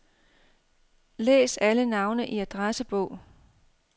Læs alle navne i adressebog.